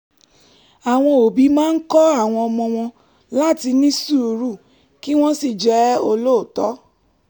àwọn òbí máa ń kọ́ àwọn ọmọ wọn láti ní sùúrù kí wọ́n sì jẹ́ olóòótọ́